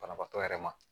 Banabaatɔ yɛrɛ ma